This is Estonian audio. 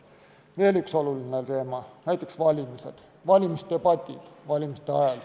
Veel üks oluline teema, näiteks valimisdebatid valimiste ajal.